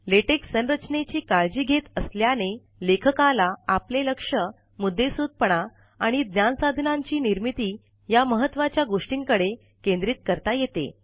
LaTeX संरचनेची काळजी घेत असल्याने लेखकाला आपले लक्ष मुद्देसूदपणा आणि ज्ञानसाधनांची निर्मिती या महत्वाच्या गोष्टींकडे केंद्रित करता येते